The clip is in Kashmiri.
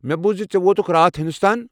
مےٚ بوٗز زِ ژٕ ووتُکھ راتھ ہنٛدوستان۔